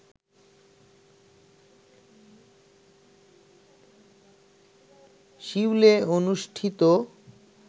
সিউলে অনুষ্ঠিত